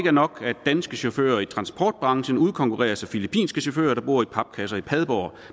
er nok at danske chauffører i transportbranchen udkonkurreres af filippinske chauffører der bor i papkasser i padborg